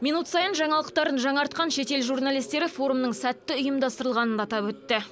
минут сайын жаңалықтарын жаңартқан шетел журналистері форумның сәтті ұйымдастырылғанын атап өтті